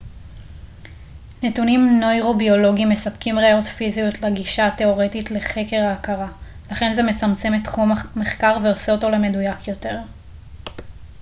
נתונים נוירוביולוגיים מספקים ראיות פיזיות לגישה תאורטית לחקר ההכרה לכן זה מצמצם את תחום המחקר ועושה אותו למדויק יותר